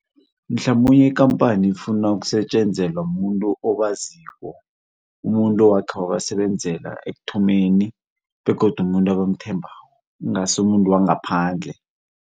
Mhlamunye ikampani ifuna ukusetjenzelwa mumuntu okwaziko. Umuntu owakhe wabasebenzela ekuthomeni, begodu umuntu ebamthembako, ingasi umuntu wangaphandle.